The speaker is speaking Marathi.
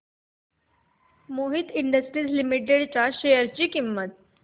मोहित इंडस्ट्रीज लिमिटेड च्या शेअर ची किंमत